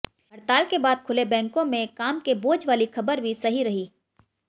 हड़ताल के बाद खुले बैंकों में काम के बौझ वाली खबर भी सही रही